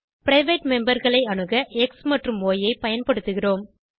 private memberகளை அணுக X மற்றும் ய் ஐ பயன்படுத்துகிறோம்